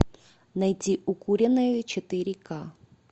найди укуренные четыре ка